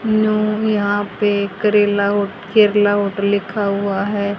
यहां पे करेला केरला होटल लिखा हुआ है।